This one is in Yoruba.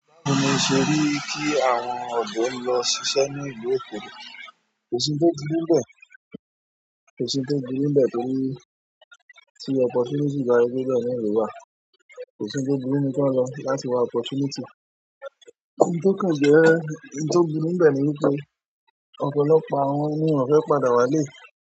Báwo ni o ṣe rí kí àwọn ọ̀dọ́ ń lọ ṣiṣẹ́ ní ìlú Èkó? Kò sí ń tó burú nbẹ̀, kò sí ń tó burú nbẹ̀ torí tí opportunity ba sepe ibe na lo wa. Kò sí ń tó burú nibi kí wọ́n lọ láti wa opportunity. Oun to kan je oun to burú nbe ni wípé ọ̀pọ̀lọpọ̀ àwọn, won o fe padà wale.